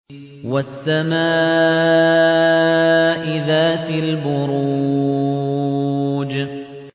وَالسَّمَاءِ ذَاتِ الْبُرُوجِ